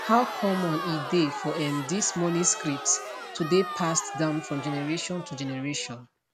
how common e dey for um dis money scripts to dey passed down from generation to generation